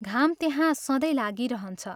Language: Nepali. घाम त्यहाँ सधैँ लागिरहन्छ।